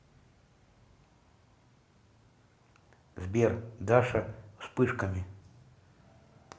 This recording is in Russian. сбер даша вспышками